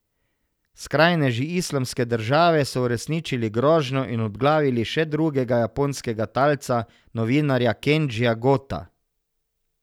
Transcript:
Skrajneži Islamske države so uresničili grožnjo in obglavili še drugega japonskega talca, novinarja Kendžija Gota.